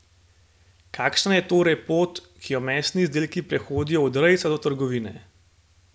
Kakšna je torej pot, ki jo mesni izdelki prehodijo od rejca do trgovine?